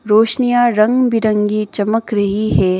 रोशनियां रंग बिरंगी चमक रही है।